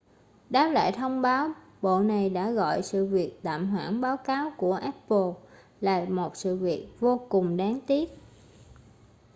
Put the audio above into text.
đáp lại thông báo bộ này đã gọi sự việc tạm hoãn báo cáo của apple là một sự việc vô cùng đáng tiếc